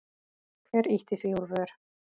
Hver ýtti því úr vör?